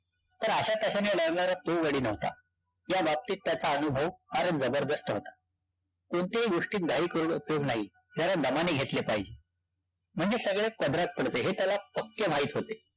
पण अशा कशाने नडणारा तो गडी नव्हता. त्या बाबतीत त्याचा अनुभव फारच जबरदस्त होता. कोणत्याही गोष्टीत घाई केली. जरा दमाने घेतले पाहिजे. म्हणजे सगळंच पदरात पडते. हे त्याला पक्के माहित होते.